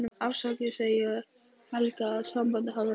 Afsakandi segi ég Helga að sambandið hafi rofnað.